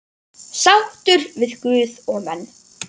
Sáttur við guð og menn.